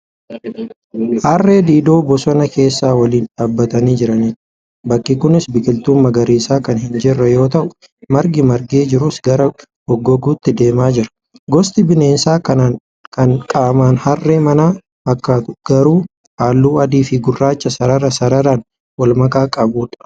Harree-diidoo bosona keessa waliin dhaabbatanii jiranidha. Bakki kunis biqiltuun magariisa kan hin jirre yoo ta'u, margi margee jirus gara gogouutti deemaa jira. Gosti bineensa kanaa kan qaaman harree manaa fakkaatu garuu, halluu adiifi gurraacha sarara sararaan walmakaa qabudha.